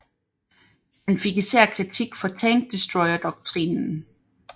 Han fik især kritik for tank destroyer doktrinen